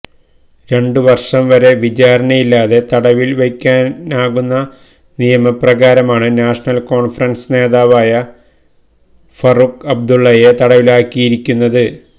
രണ്ടു വർഷം വരെ വിചാരണയില്ലാതെ തടവിൽ വയ്ക്കാനാകുന്ന നിയമപ്രകാരമാണ് നാഷണൽ കോൺഫറൻസ് നേതാവായ ഫറൂഖ് അബ്ദുള്ളയെ തടവിലാക്കിയിരിക്കുന്നത്